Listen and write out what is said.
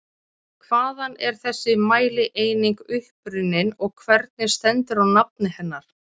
Hvaðan er þessi mælieining upprunnin og hvernig stendur á nafni hennar?